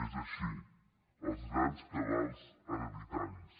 és així els grans cabals hereditaris